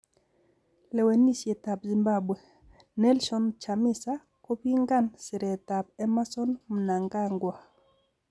Lewenisiet Zimbabwe:Nelson Chamisa kopingan siretab Emmerson Mnangagwa